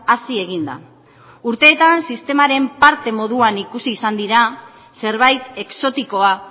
hasi egin da urteetan sistemaren parte moduan ikusi izan dira zerbait exotikoa